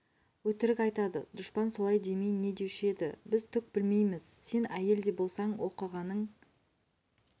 өтірік айтады дұшпан солай демей не деуші еді біз түк білмейміз сен әйел де болсаң оқығаның